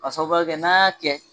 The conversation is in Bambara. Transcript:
ka sababuya kɛ n'an y'a kɛ.